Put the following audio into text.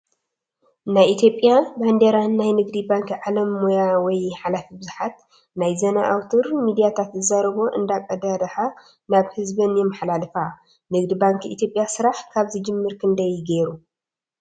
ናይ ኢትዮጰያ ባንዴራን ናይ ንግዲ ባንኪ ባዓል ሞያ ወይ ሓላፊ ብዙሓት ናይ ዘና ኣውትር ሚድያታት ዝዛረቦ እንዳቀዳሓ ናብ ህዝበን የማሓላልፋ:: ንግዲ ባንኪ ኢትዮጰያ ስራሕ ካብ ዝጅምር ክንዳይ ገይሩ ?